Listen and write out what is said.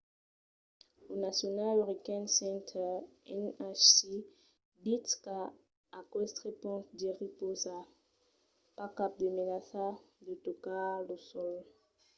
lo national hurricane center nhc ditz qu'a aqueste ponch jerry pausa pas cap de menaça de tocar lo sòl